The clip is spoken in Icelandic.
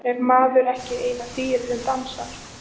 Er maðurinn ekki eina dýrið sem dansar?